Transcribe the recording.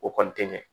O kɔni tɛ ɲɛ